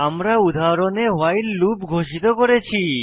আমরা উদাহরণে while loop ঘোষিত করেছি